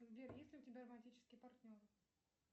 сбер есть ли у тебя романтический партнер